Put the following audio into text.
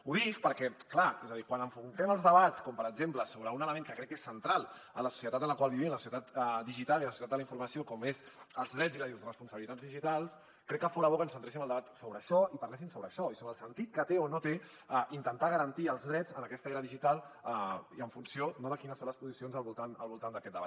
ho dic perquè clar és a dir quan enfoquem els debats com per exemple sobre un element que crec que és central en la societat en la qual vivim la societat digital i la societat de la informació com és els drets i les responsabilitats digitals crec que fora bo que centréssim el debat sobre això i parléssim sobre això i sobre el sentit que té o no té intentar garantir els drets en aquesta era digital i en funció no de quines són les posicions al voltant d’aquest debat